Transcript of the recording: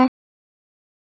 Svo er